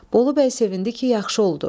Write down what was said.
Bolubəy sevindi ki, yaxşı oldu.